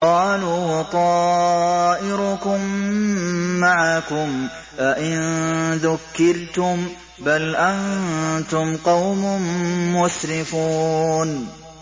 قَالُوا طَائِرُكُم مَّعَكُمْ ۚ أَئِن ذُكِّرْتُم ۚ بَلْ أَنتُمْ قَوْمٌ مُّسْرِفُونَ